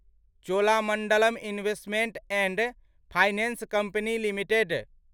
Cholamandalam Investment and Finance Company limited